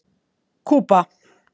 Kúba